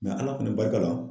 Ala fɛnɛ barika la